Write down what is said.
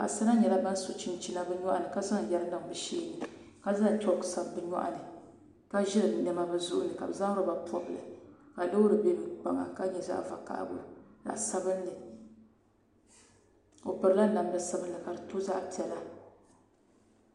Paɣasara nyɛla bin so chinchina bi nyoɣani ka zaŋ yɛri ga bi nyoɣani ka zaŋ chook sabi bi nyoɣani ka ʒiri niɛma bi zuɣu ni ka bi zaŋ roba pobili ka loori bɛ bi kpaŋa ka nyɛ zaɣ vakaɣali zaɣ paɣa sabinli o pirila namda sabinli ka di to zaɣ piɛla